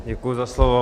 Děkuji za slovo.